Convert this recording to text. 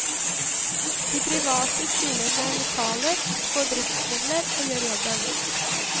De private stiller med lokaler, får driftsmidler og gjør jobben.